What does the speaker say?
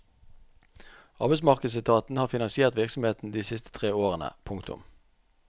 Arbeidsmarkedsetaten har finansiert virksomheten de siste tre årene. punktum